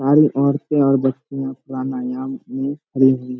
सारे औरतें और बच्चे प्राणायाम करने में मग्न है।